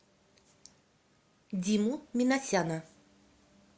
диму минасяна